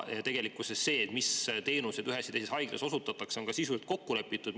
Tegelikkuses see, mis teenuseid ühes või teises haiglas osutatakse, on ka sisuliselt kokku lepitud.